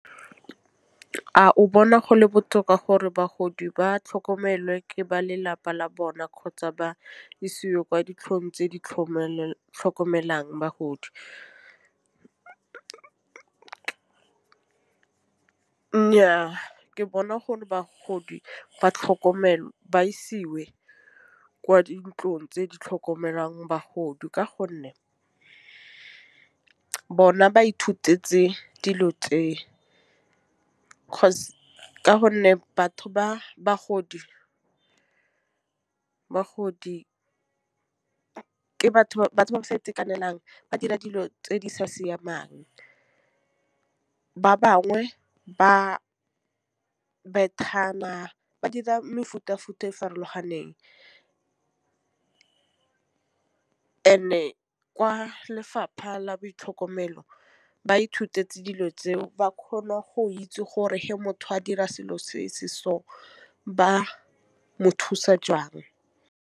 A o bona gole botoka gore bagodi ba tlhokomelwe ke ba lelapa la bona kgotsa ba isiwe kwa ditlhong tse di tlhokomelang bagodi. Nnyaa ke bona gore bagodi ba tlhokomele ba isiwe kwa dintlong tse di tlhokomelang bagodi ka gonne bona ba ithutetse dilo tse. Ka gonne batho ba bagodi ke batho ba sa itekanelang ba dira dilo tse di sa siamang ba bangwe ba ba dira mefuta futa e farologaneng and-e kwa lefapha la boitlhokomelo ba ithutetse dilo tse ba kgona go itse gore ge motho a dira selo se se so ba mothusa jang.